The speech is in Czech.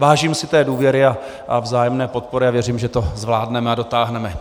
Vážím si té důvěry a vzájemné podpory a věřím, že to zvládneme a dotáhneme.